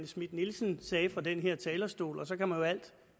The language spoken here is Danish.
schmidt nielsen sagde fra den her talerstol og så kan man jo alt